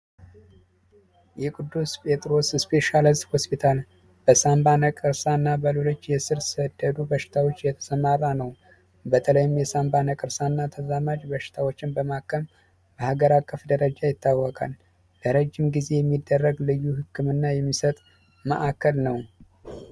የቅዱስ ጴጥሮስ ስፔሻሊስ ሆስፒታል በሳምባ ነቀርሳና በደቡብ በሽታዎች የተሰማራ ነው። በተለይም የሳንባ ነቀርሳና ተዛማጅ በሽታዎችን በማከም በሀገር አቀፍ ደረጃ ይታወቃል። ለረጅም ጊዜ የሚደረግ ልዩ ህክምና የሚሰጥ ማዕከል ነው።